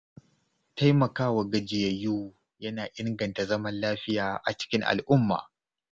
Taimakawa gajiyayyu yana inganta zaman lafiya a cikin al’umma.